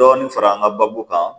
Dɔɔnin fara an ka baabu kan